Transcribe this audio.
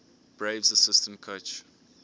braves assistant coach